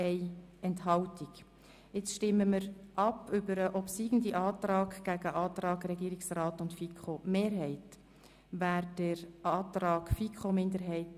Wer den obsiegenden Antrag der FiKo-Minderheit I annehmen will, stimmt Ja.